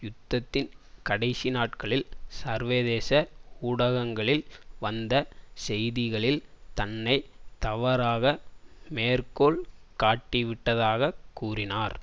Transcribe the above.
யுத்தத்தின் கடைசி நாட்களில் சர்வதேச ஊடகங்களில் வந்த செய்திகளில் தன்னை தவறாக மேற்கோள் காட்டிவிட்டதாகக் கூறினார்